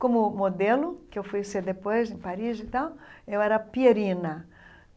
Como modelo, que eu fui ser depois em Paris e tal, eu era pierina.